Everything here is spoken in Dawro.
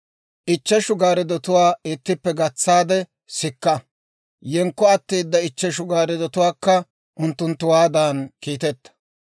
Ichcheshu gaarddotuwaa ittippe gatsaade sikka; yenkko atteeda ichcheshu gaarddotuwaakka unttunttuwaadan kiiteta.